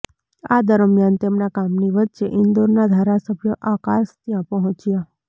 આ દરમ્યાન તેમના કામની વચ્ચે ઇન્દોરના ધારાસભ્ય આકાશ ત્યાં પહોંચ્યા